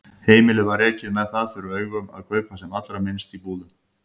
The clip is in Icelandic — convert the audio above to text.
Heimilið var rekið með það fyrir augum að kaupa sem allra minnst í búðum.